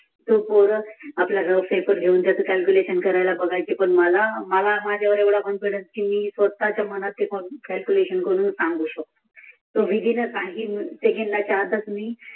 ती पोर आपल्या रफ पेपर घेऊन क्याल्कुलेषण करायला घेऊन बसायचं पण मला माझ्यावर एवढा कॉन्फिडन कि मी स्वताच्या मनातून कक्याल्कुलेषण करून सांगू शकतो. तिघींना सांगीन